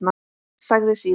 Sagði síðan: